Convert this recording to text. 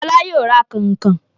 Fọlá yóò ra kànkàn.